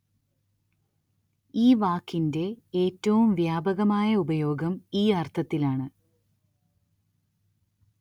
ഈ വാക്കിന്റെ ഏറ്റവും വ്യാപകമായ ഉപയോഗം ഈ അര്‍ത്ഥത്തിലാണ്